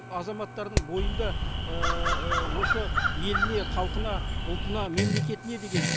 азаматтардың бойында осы еліне халқына ұлтына мемлекетіне деген